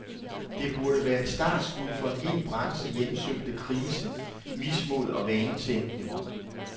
Det burde være et startskud for en hel branche hjemsøgt af krise, mismod og vanetænkning.